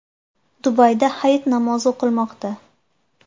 Dubayda Hayit namozi o‘qilmoqda.